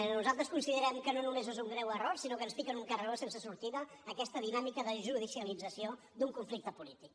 nosaltres considerem que no només és un greu error sinó que ens fica en un carreró sense sortida aquesta dinàmica de judicialització d’un conflicte polític